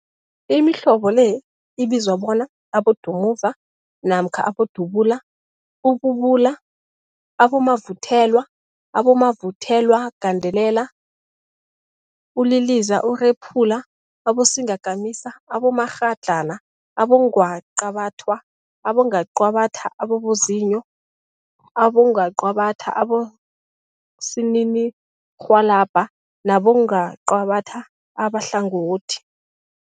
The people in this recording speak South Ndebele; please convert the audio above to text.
Imihlobo le ibizwa bona, bodumuza namkha bodubula, ububula, abomavuthelwa, abomavuthelwagandelela, uliliza, urephula, abosingakamisa, abomakghadlana, abongwaqabathwa, abongwaqabathwa ababozinyo, abongwaqabathwa abosininirhwalabha nabongwaqabatha abahlangothi.